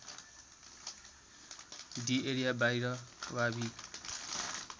डि एरियाबाहिर वा भि